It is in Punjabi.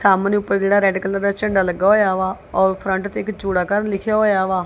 ਸਾਮਣੇ ਉੱਪਰ ਜਿਹੜਾ ਰੈਡ ਕਲਰ ਦਾ ਝੰਡਾ ਲੱਗਾ ਹੋਇਆ ਵਾ ਔਰ ਫਰੰਟ ਤੇ ਇੱਕ ਜੋੜਾ ਘਰ ਲਿਖਿਆ ਹੋਇਆ ਵਾ।